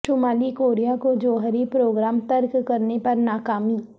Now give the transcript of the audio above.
شمالی کوریا کو جوہری پروگرام ترک کرنے پر ناکامی